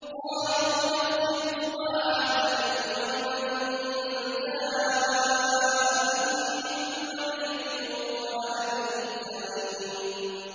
قَالُوا نَفْقِدُ صُوَاعَ الْمَلِكِ وَلِمَن جَاءَ بِهِ حِمْلُ بَعِيرٍ وَأَنَا بِهِ زَعِيمٌ